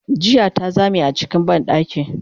jiya ta Zame a cikin banɗaki